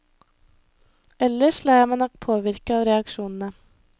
Ellers lar jeg meg nok påvirke av reaksjonene.